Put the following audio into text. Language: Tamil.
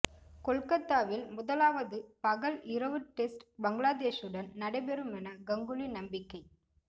கொல்கத்தாவில் முதலாவது பகல் இரவு டெஸ்ட் பங்களாதேஷுடன் நடைபெறுமென கங்குலி நம்பிக்கை